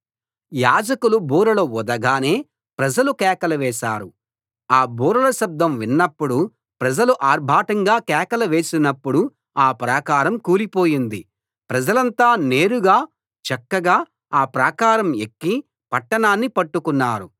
యాజకులు బూరలు ఊదగానే ప్రజలు కేకలు వేశారు ఆ బూరల శబ్దం విన్నప్పుడు ప్రజలు ఆర్భాటంగా కేకలు వేసినపుడు ఆ ప్రాకారం కూలిపోయింది ప్రజలంతా నేరుగా చక్కగా ఆ ప్రాకారం ఎక్కి పట్టణాన్ని పట్టుకున్నారు